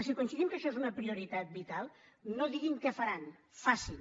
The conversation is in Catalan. si coincidim que això és una prioritat vital no diguin què faran facin